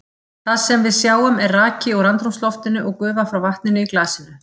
Það sem við sjáum er raki úr andrúmsloftinu og gufa frá vatninu í glasinu.